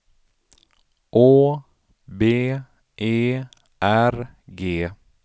Å B E R G